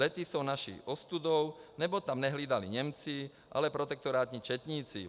Lety jsou naší ostudou, neboť tam nehlídali Němci, ale protektorátní četníci.